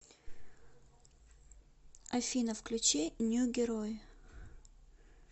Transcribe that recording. афина включи нью герой